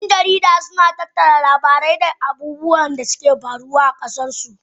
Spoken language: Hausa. Yan jarida suna tattara labarai daga abubuwan da ke faruwa a cikin ƙasarsu